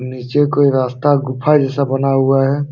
नीचे कोई रास्ता गुफा जैसा बना हुआ है।